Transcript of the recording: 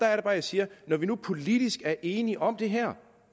er det bare jeg siger at når vi nu politisk er enige om det her